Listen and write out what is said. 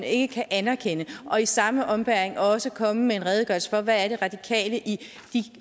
ikke kan anerkende og i samme ombæring også komme med en redegørelse for hvad det er radikale i de